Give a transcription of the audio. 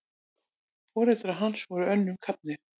Foreldrar hans voru önnum kafnir.